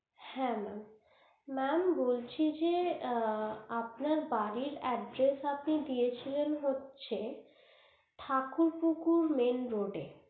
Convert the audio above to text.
হ্যা mam mam বলছি যে আপনার বাড়ির address আপনি দিয়েছিলেন হচ্ছে যে ঠাকুর পুকুর main road এ